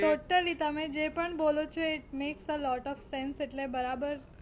Totally તમે જે પણ બોલો છો it makes a lot of sense એટલે બરાબર